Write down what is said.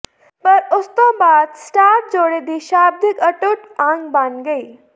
ਪਰ ਉਸ ਤੋਂ ਬਾਅਦ ਸਟਾਰ ਜੋੜੇ ਦੀ ਸ਼ਾਬਦਿਕ ਅਟੁੱਟ ਅੰਗ ਬਣ ਗਈ